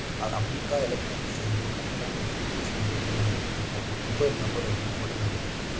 ಅ Ambika electronics ಎಂದು ಕನ್ನಡ ಮತ್ತು English ನಲ್ಲಿ ಬರೆಯಲಾಗಿದ್ದು ಹಾಗು ಮೊಬೈಲ್ ನಂಬರ್ ಅನ್ನು ಕೊಡಲಾಗಿದೆ. ಇಲ್ಲಿ --